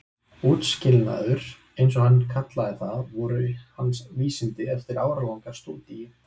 Útskilnaður- eins og hann kallaði það- voru hans vísindi eftir áralanga stúdíu.